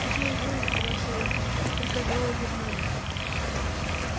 теперь вы бросайте приказала гермиона